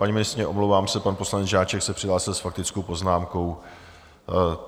Paní ministryně, omlouvám se, pan poslanec Žáček se přihlásil s faktickou poznámkou.